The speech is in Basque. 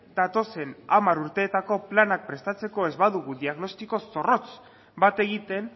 datozen hamar urteetako planak prestatzeko ez badugu diagnostiko zorrotz bat egiten